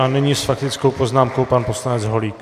A nyní s faktickou poznámkou pan poslanec Holík.